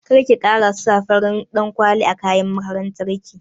Karki kara sa farin ɗan kwali a kayan makaranta ki